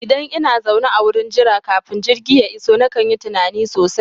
Idan ina zaune a wurin jira kafin jirgi ya iso nakan yi tunani sosai